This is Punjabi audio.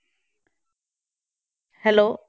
Hello